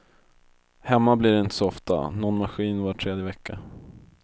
Hemma blir det inte så ofta, nån maskin var tredje vecka.